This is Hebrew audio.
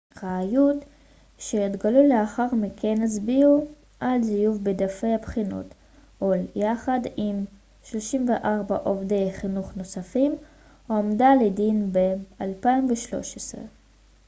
ראיות שהתגלו לאחר מכן הצביעו על זיוף בדפי הבחינות הול יחד עם 34 עובדי חינוך נוספים הועמדה לדין ב-2013